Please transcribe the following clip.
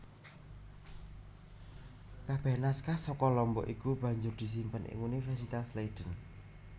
Kabeh naskah saka Lombok iku banjur disimpen ing Universitas Leiden